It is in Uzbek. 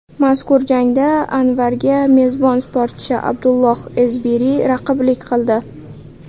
Mazkur jangda Anvarga mezbon sportchi Abdullah Ezbiri raqiblik qildi.